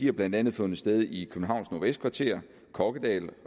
har blandt andet fundet sted i københavns nordvestkvarter kokkedal